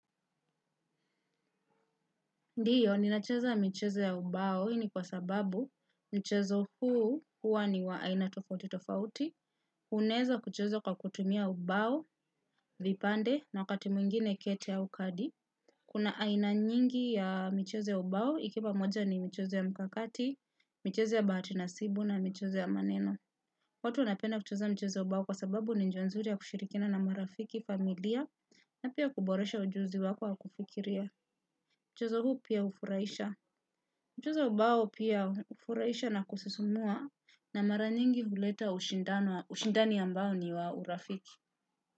Ndiyo, ninacheza michezo ya ubao, hii ni kwa sababu mchezo huu hua ni wa aina tofauti tofauti. Uneza kuchozo kwa kutumia ubao, vipande, na wakati mwingine kete au kadi. Kuna aina nyingi ya michezo ya ubao, ikipa moja ni mchezo ya mkakati, mcheze ya bahati nasibu na mchezo ya maneno. Watu wanapenda kucheza mchezo ya ubao kwa sababu ni njia nzuri ya kushirikina na marafiki familia, na pia kuboresha ujuzi wako wa kufikiria. Mchezo huu pia ufuraisha. Mchezo wa bao pia ufuraisha na kusisumua na mara nyingi huleta ushindani ambao ni wa urafiki.